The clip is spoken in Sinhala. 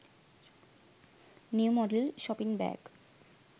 new model shopping bag